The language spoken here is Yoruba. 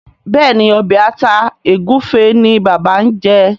Béèni Obe atá egufe ní bàbá ñ jé.